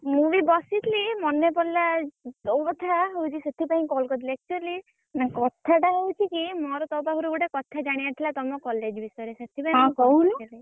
ମୁଁ ବି ବସିଥିଲି ମନେ ପଡିଲା ତୋ କଥା ମୁଁ ହଉଛି ସେଥିପାଇଁ call କରିଦେଲି actually ମାନେ କଥାଟା ହଉଛି କି ମୋର ତୋ ପାଖରୁ ଗୋଟେ କଥା ଜାଣିଆର ଥିଲା ତମ college ବିଷୟରେ ସେଥିପାଇଁ